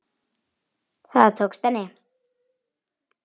Það tókst henni.